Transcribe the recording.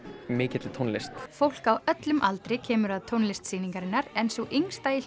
mikilli tónlist fólk á öllum aldri kemur að tónlist sýningarinnar en sú yngsta í